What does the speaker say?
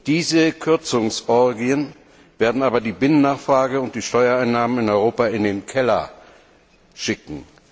Diese Kürzungsorgien werden aber die Binnennachfrage und die Steuereinnahmen in Europa in den Keller schicken.